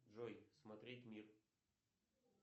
джой смотреть мир